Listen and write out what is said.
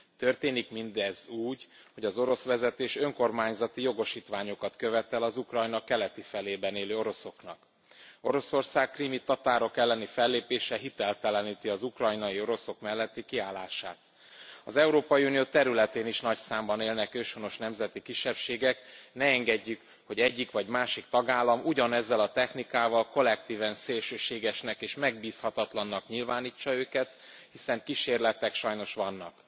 Történik mindez úgy, hogy az orosz vezetés önkormányzati jogosítványokat követel az Ukrajna keleti felében élő oroszoknak. Oroszország krími tatárok elleni fellépése hitelteleníti az ukrajnai oroszok melletti kiállását. Az Európai Unió területén is nagy számban élnek őshonos nemzeti kisebbségek, ne engedjük, hogy egyik vagy másik tagállam ugyanezzel a technikával kollektíven szélsőségesnek és megbízhatatlannak nyilvánítsa őket, hiszen kísérletek sajnos vannak.